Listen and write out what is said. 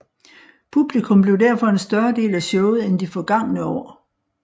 Publikum blev derfor en større del af showet end de forgange år